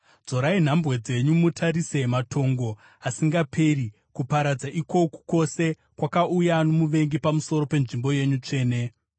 Dzorai nhambwe dzenyu mutarise matongo asingaperi, kuparadza ikoku kwose kwakauya nomuvengi pamusoro penzvimbo yenyu tsvene.